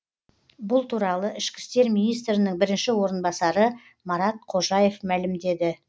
бұл туралы ішкі істер министрінің бірінші орынбасары марат қожаев мәлімдеді